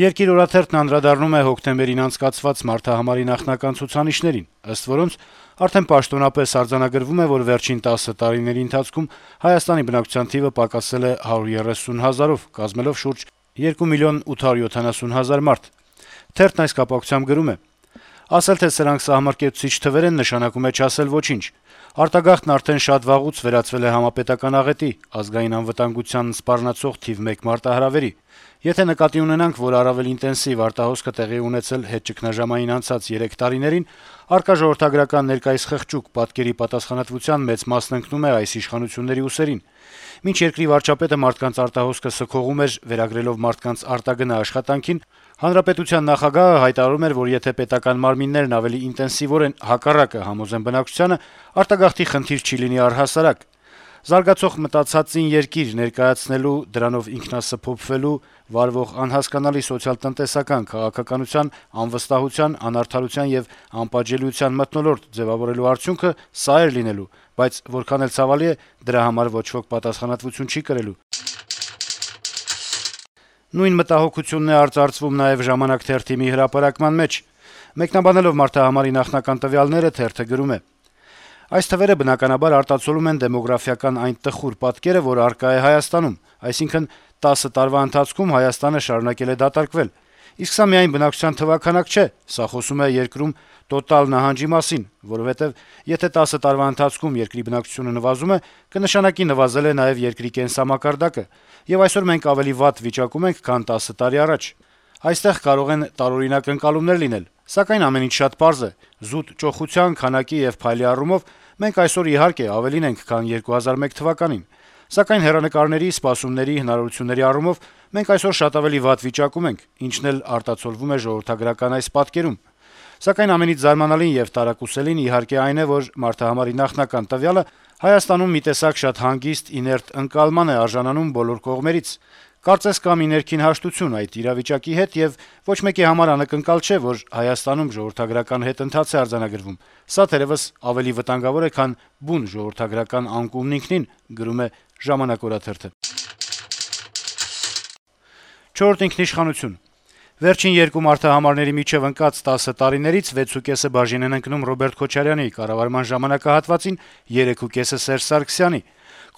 «Երկիր» օրաթերթն անդրադառնում է հոկտեմբերին անցկացված մարդահամարի նախնական ցուցանիշներին: Ըստ այդմ` արդեն պաշտոնապես արձանագրվում է, որ վերջին տասը տարիների ընթացքում Հայաստանի բնակչության թիվը պակասել է 130 հազարով` կազմելով շուրջ 2 միլիոն 870 հազար մարդ: Թերթն այս կապակցությամբ գրում է. - «Ասել, թե սրանք սահմռկեցուցիչ թվեր են, նշանակում է` չասել ոչինչ: Արտագաղթն արդեն վաղուց վերածվել է համապետական աղետի, ազգային անվտանգությանը սպառնացող թիվ մեկ մարտահրավերի: Եթե նկատի ունենանք, որ առավել ինտենսիվ արտահոսքը տեղի է ունեցել հետճգնաժամային 3 տարիներին, առկա ժողովրդագրական ներկայիս խղճուկ պատկերի պատասխանատվության մեծ մասն ընկնում է այս իշխանությունների ուսերին: Մինչ երկրի վարչապետը մարդկանց արտահոսքը սքողում էր` վերագրելով մարդկանց արտագնա աշխատանքին, հանրապետության նախագահը հայտարարում էր, որ եթե պետական մարմիններն ավելի ինտենսիվորեն հակառակը համոզեն բնակչությանը, արտագաղթի խնդիր չի լինի առհասարակ: Զարգացող մտացածին երկիր ներկայացնելու, դրանով ինքնասփոփվելու, վարվող անհասկանալի սոցիալ-տնտեսական քաղաքականության, անվստահության, անարդարության եւ անպատժելիության մթնոլորտ ձեւավորելու արդյունքը սա էր լինելու: Բայց որքան էլ ցավալի է, դրա համար ոչ ոք պատասխանատվություն չի կրելու»: Նույն մտահոգությունն է արծարծվում նաեւ «Ժամանակ» թերթի մի հրապարակման մեջ: Մեկնաբանելով մարդահամարի նախնական տվյալները` թերթը գրում է. - «Այս թվերը բնականաբար արտացոլում են դեմոգրաֆիական այն տխուր պատկերը, որ առկա է Հայաստանում: Այսինքն, տասը տարվա ընթացքում Հայաստանը շարունակվել է դատարկվել: Իսկ սա միայն բնակչության թվաքանակ չէ, սա խոսում է երկրում տոտալ նահանջի մասին, որովհետեւ եթե տասը տարվա ընթացքում երկրի բնակչությունը նվազում է, կնշանակի նվազել է նաեւ երկրի կենսամակարդակը եւ այսօր մենք ավելի վատ վիճակում ենք, քան տասը տարի առաջ: Այստեղ կարող են տարօրինակ ընկալումներ լինել, սակայն ամեն ինչ շատ պարզ է՝ զուտ ճոխության, քանակի եւ փայլի առումով մենք այսօր իհարկե ավելին ենք, քան 2001 թվականին, սակայն հեռանկարների, սպասումների, հնարավորությունների առումով մենք այսօր շատ ավելի վատ վիճակում ենք, ինչն էլ արտացոլվում է ժողովրդագրական այս պատկերում: Սակայն, ամենից զարմանալին եւ տարակուսելին իհարկե այն է, որ մարդահամարի նախնական տվյալը Հայաստանում մի տեսակ շատ հանգիստ, իներտ ընկալման է արժանանում բոլոր կողմերից: Կարծես կա մի ներքին հաշտություն այդ իրավիճակի հետ եւ ոչ մեկի համար անակնկալ չէ, որ Հայաստանում ժողովրդագրական հետընթաց է արձանագրվում: Սա թերեւս ավելի վտանգավոր է, քան բուն ժողովրդագրական անկումն ինքնին»: «Չորրորդ ինքնիշխանություն». - «Վերջին երկու մարդահամարների միջեւ ընկած տասը տարիներից վեցուկեսը բաժին են ընկնում Ռոբերտ Քոչարյանի կառավարման ժամանակահատվածին, երեքուկեսը` Սերժ Սարգսյանի: